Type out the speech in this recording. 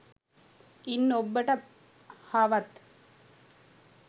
ඉන් ඔබ්බට හවත්